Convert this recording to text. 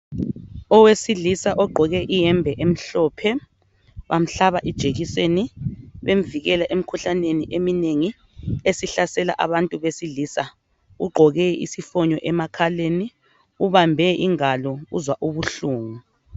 Owesilisa ogqoke iyembe emhlophe bamhlaba ijekiseni, bemvikela emikhuhlane eminengi esihlasela abantu abesilisa. Ugqoke isifonyo emakhaleni, ubambe ingalo uzwa ubuhlungu.